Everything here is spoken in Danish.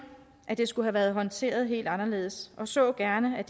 at det skulle have været håndteret helt anderledes og så gerne at